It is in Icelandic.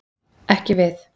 Ekki við!